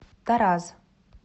тараз